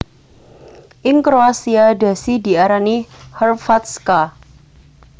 Ing kroasia dhasi diarani Hrvatska